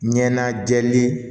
Ɲɛnajɛli